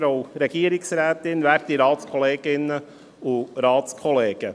Kommissionspräsident der FiKo.